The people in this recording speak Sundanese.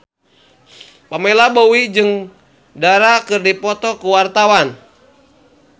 Pamela Bowie jeung Dara keur dipoto ku wartawan